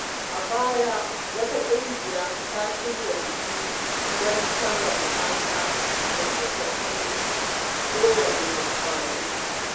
A baya, wata ƙungiya ta shirya biki don karrama mata da suka fi kowane ƙwazo.